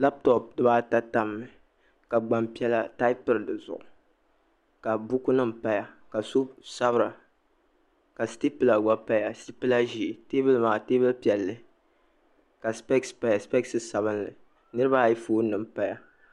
lapitopu dibaata tamimi ka gbam'pi; lla taapiri di zuɣu ka bukunima paya ka so sabira ka istipula gba paya sitipula ʒee teebuli maa teebuli piɛlli ka sipɛsi paya sipɛsi sabinli niriba ayi foonima m-paya